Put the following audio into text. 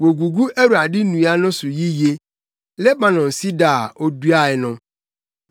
Wogugu Awurade nnua no so yiye, Lebanon sida a oduae no.